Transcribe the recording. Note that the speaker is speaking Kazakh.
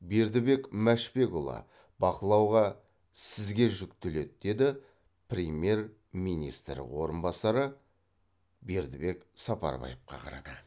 бердібек мәшбекұлы бақылауға сізге жүктеледі деді премьер министр орынбасары бердібек сапарбаевқа қарата